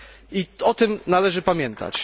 I o tym należy pamiętać.